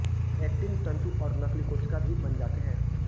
actin तंतु और नकलीकोशिका भी बन जाते हैं